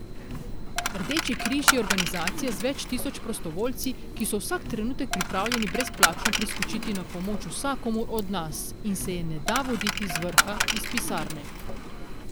Rdeči križ je organizacija z več tisoč prostovoljci, ki so vsak trenutek pripravljeni brezplačno priskočiti na pomoč vsakomur od nas in se je ne da voditi z vrha, iz pisarne.